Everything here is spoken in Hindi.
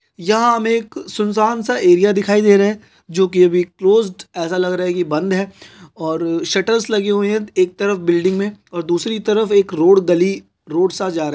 यहाँ हमे एक सुन सान सा एरिया दिखाई दे रहा हैजो की अभी क्लोज्ड ऐसा लग रहा हैकी बंद है और शटर लगे हुए है एक तरफ बिल्डिंग में और दूसरी तरफएक रोड गली रोड सा जा रहा है कुछ --